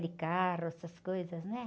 De carro, essas coisas, né?